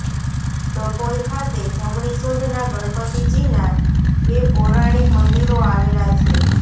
ડભોઇ ખાતે જમણી સૂંઢના ગણપતિજીના બે પૌરાણિક મંદિરો આવેલા છે